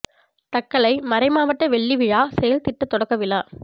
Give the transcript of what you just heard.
தக்கலை மறை மாவட்ட வெள்ளி விழா செயல் திட்ட தொடக்க விழா